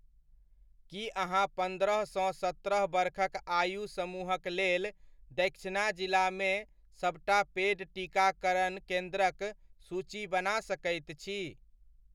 की अहाँ पन्द्रह सँ सत्रह बरखक आयु समूहक लेल दक्षिणा जिलामे सबटा पेड टीकाकरण केन्द्रक सूची बना सकैत छी?